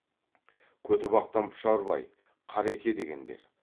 көтібақтан пұшарбай қареке дегендер